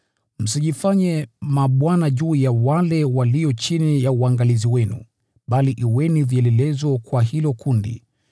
Msijifanye mabwana juu ya wale walio chini ya uangalizi wenu, bali kuweni vielelezo kwa hilo kundi.